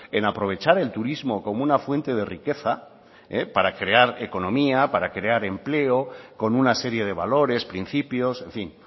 en aprovechar el turismo como una fuente de riqueza para crear economía para crear empleo con una serie de valores principios en fin